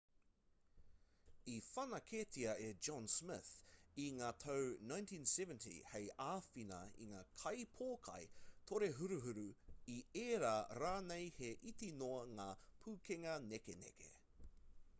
i whanaketia e john smith i ngā tau 1970 hei āwhina i ngā kaipōkai torehuruhuru i ērā rānei he iti noa ngā pūkenga nekeneke